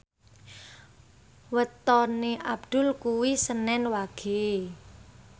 wetone Abdul kuwi senen Wage